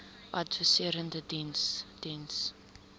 adviserende diens diens